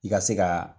I ka se ka